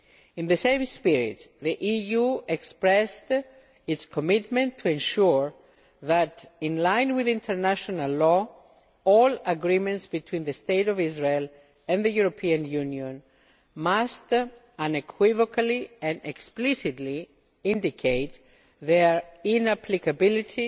In the same spirit, the EU expressed its commitment to ensure that in line with international law all agreements between the State of Israel and the European Union must unequivocally and explicitly indicate their inapplicability